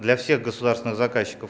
для всех государственных заказчиков